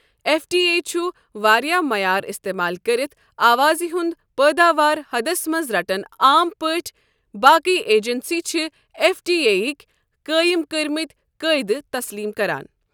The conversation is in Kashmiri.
ایف ڈی اے چُھ واریاہ معیار استعمال کٔرِتھ آوازِ ہُند پٲداوار حدس منز رٹن عام پٲٹھۍ باقی ایجنسی چِھ ایف ڈی اے یِک قٲیم کٔرۍمِتۍ قٲعدٕ تسلیم کران ۔